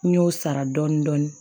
N y'o sara dɔɔnin dɔɔnin